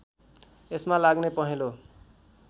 यसमा लाग्ने पहेँलो